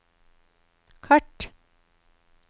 kart